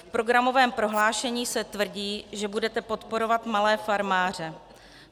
V programovém prohlášení se tvrdí, že budete podporovat malé farmáře.